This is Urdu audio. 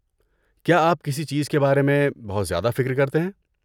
کیا آپ کسی چیز کے بارے میں بہت زیادہ فکر کرتے ہیں؟